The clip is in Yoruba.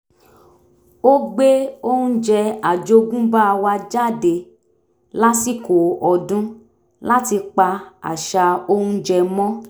ó gbé oúnjẹ àjogúnbá wa jáde lásìkò ọdún láti pa àṣà oúnjẹ mọ́